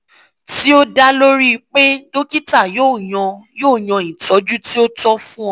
ti o da lori pe dokita yoo yan yoo yan itọju ti o tọ fun ọ